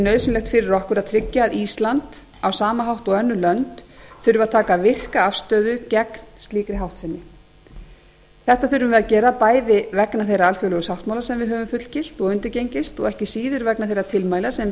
nauðsynlegt fyrir okkur að tryggja að ísland á sama hátt og önnur lönd þurfi að taka virka afstöðu gegn slíkri háttsemi þetta þurfum við að gera bæði vegna þeirra alþjóðlegu sáttmála sem við höfum fullgilt og undirgengist og ekki síður vegna þeirra tilmæla sem beint